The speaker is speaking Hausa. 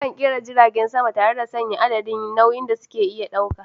Akan kera jiragen sama tare da sanya adadin nauyin da suke iya dauka.